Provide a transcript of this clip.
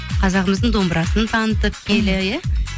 қазағымыздың домбырасын танытып киелі иә